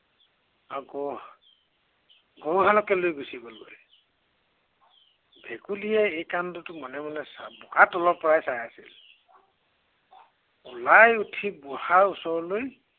আৰু গৰু, গৰু হালকে লৈ গুচি গলগৈ। এই ভেকুলীয়ে এই কাণ্ডটো মনে মনে বোকাৰ তলৰ পৰাই চাই আছিল। ওলাই উঠে বুঢ়াৰ ওচৰলৈ